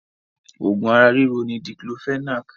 Òògùn ara ríro ni Diclofenac